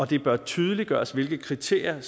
det bør tydeliggøres hvilke kriterier